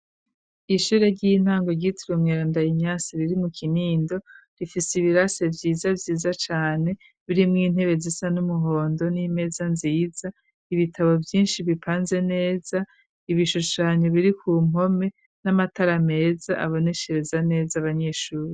Ishure ry'intango ryitiriwe umweranda inyasi riri mu kinindo, rifise ibirase vyiza vyiza cane biri mw'intebe zisa n'umuhondo n'imeza nziza, ibitabo vyishi bipanze neza, ibishushanyo biri ku mpome, n'amatara meza aboneshereza neza abanyeshuri.